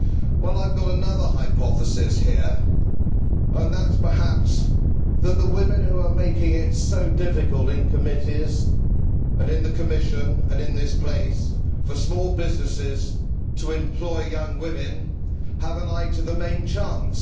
Well, I have another hypothesis here, namely, that perhaps the women who are making it so difficult in committees, in the Commission and in this place for small businesses to employ young women have an eye to the main chance.